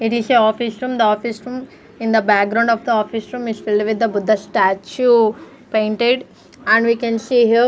It is a office room the office room in the background of the office room is filled with the buddha statue painted and we can see here--